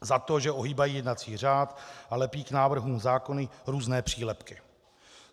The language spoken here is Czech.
Za to, že ohýbají jednací řád a lepí k návrhům zákonů různé přílepky.